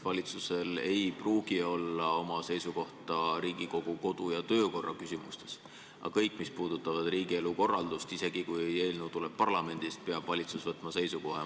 Valitsusel ei pruugi olla oma seisukohta Riigikogu kodu- ja töökorra küsimustes, aga kõigis asjades, mis puudutavad riigielu korraldust, isegi kui eelnõu tuleb parlamendist, peab valitsus võtma seisukoha.